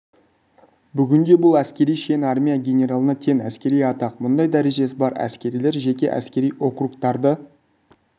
бүгінде бұл әскери шен армия генералына тең әскери атақ мұндай дәрежесі бар әскерилер жеке әскери округтарды